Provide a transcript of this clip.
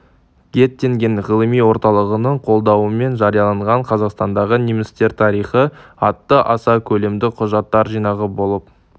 геттинген ғылыми орталығының қолдауымен жарияланған қазақстандағы немістер тарихы атты аса көлемді құжаттар жинағы болып